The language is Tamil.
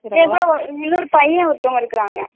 இல்லைங்க இன்னொரு பையே ஒருத்தவங்க இருக்காங்க